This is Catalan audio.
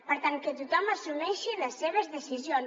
per tant que tothom assumeixi les seves decisions